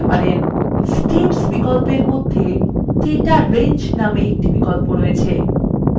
setps বিকল্পর মধ্যে data range named আর একটি বিকল্প আছে